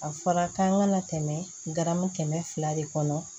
A fɔra k'an kana tɛmɛ garamu kɛmɛ fila de kɔnɔ